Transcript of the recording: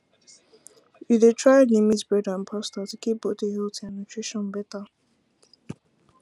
you dey try limit bread and pasta to keep body healthy and nutrition better